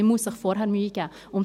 Man muss sich vorher Mühe geben.